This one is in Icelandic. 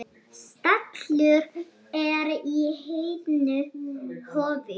Stallur er í heiðnu hofi.